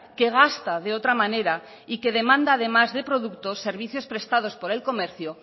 que gasta de otra manera y que demanda además de productos servicios prestados por el comercio